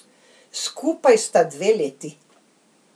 Skupaj sta dve leti.